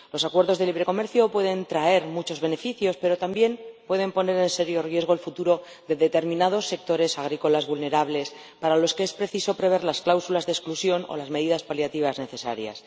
Los acuerdos de libre comercio pueden traer muchos beneficios, pero también pueden poner en serio riesgo el futuro de determinados sectores agrícolas vulnerables, para los que es preciso prever las cláusulas de exclusión o las medidas paliativas necesarias.